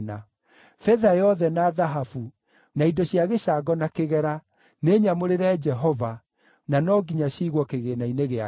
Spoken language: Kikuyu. Betha yothe na thahabu, na indo cia gĩcango na kĩgera, nĩ nyamũrĩre Jehova na no nginya ciigwo kĩgĩĩna-inĩ gĩake.”